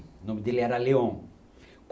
O nome dele era Leon.